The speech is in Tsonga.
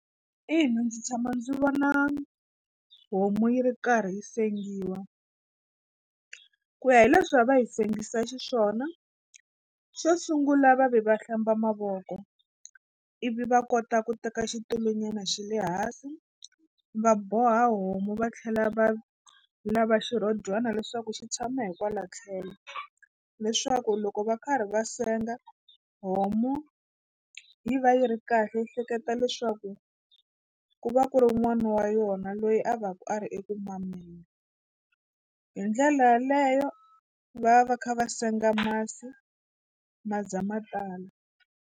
Ina ndzi tshama ndzi vona homu yi ri karhi yi sengiwa ku ya hi leswi a va yi sengiwa xiswona xo sungula va ve va hlamba mavoko ivi va kota ku teka xitulunyana xi le hansi va boha homu va tlhela va lava xirhodyana leswaku xi tshama hikwalaho tlhelo leswaku loko va karhi va senga homu yi va yi ri kahle yi hleketa leswaku ku va ku ri n'wana wa yona loyi a va ku a ri eku mameni hi ndlela yaleyo va va va kha va senga masi ma za ma tala.